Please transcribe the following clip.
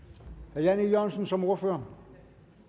herre jan e jørgensen som ordfører